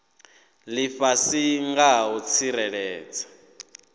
lifhasi nga ha u tsireledza